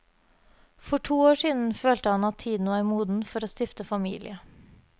For to år siden følte han at tiden var moden for å stifte familie.